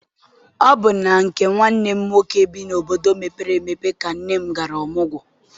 Ọ bụ na nke nwanne m nwoke bi n'obodo mepere emepe ka nne m gara ọmụgwọ.